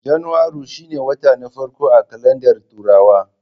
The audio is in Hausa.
Janairu shine wata na farko a kalandar turawa